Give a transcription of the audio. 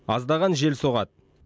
аздаған жел соғады